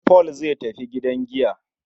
Paul zai tafi gidan giya.